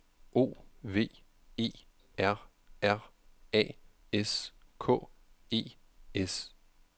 O V E R R A S K E S